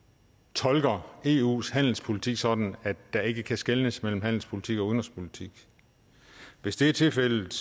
tolker eus handelspolitik sådan at der ikke kan skelnes mellem handelspolitik og udenrigspolitik hvis det er tilfældet